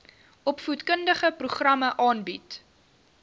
opvoedkundige programme aanbied